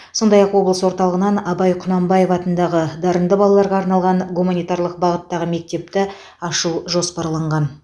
сондай ақ облыс орталығынан абай құнанбаев атындағы дарынды балаларға арналған гуманитарлық бағыттағы мектепті ашу жоспарланған